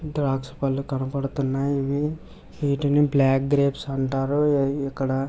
ద్రాక్ష పళ్ళు కనబడుతున్నాయి ఇవి వీటిని బ్లాక్ గ్రేప్స్ అంటారు అవి ఇక్కడ.